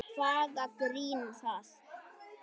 Hvaða grín er það?